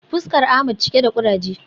Fuskar Ahmed cike da kuraje